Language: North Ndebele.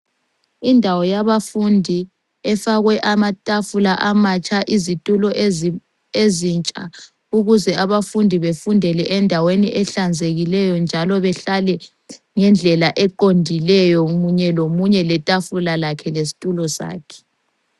Indawo yabafundi efakwe amatafula amatsha, izitulo ezintsha ukuze abafundi befundele endaweni ehlanzekileyo njalo behlale ngendlela eqondileyo munye lomunye letafula lakhe lesitulo sakhe.